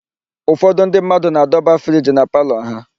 Ụfọdụ ndị mmadụ na-adọba friji na palọ ha.